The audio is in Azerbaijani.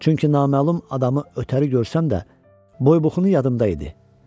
Çünki naməlum adamı ötəri görsəm də, boy-buxunu yadımda idi.